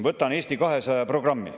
Võtan ette Eesti 200 programmi.